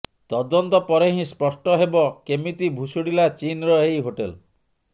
ତଦନ୍ତ ପରେ ହିଁ ସ୍ପଷ୍ଟ ହେବ କେମିତି ଭୁଶୁଡ଼ିଲା ଚୀନର ଏହି ହୋଟେଲ